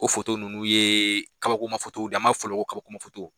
O foto ninnu ye kabakoma fotow an b'a fɔ olu ma kabakoma fotow